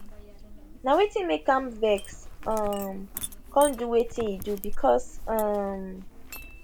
na wetin make am vex um come do wetin e do becos um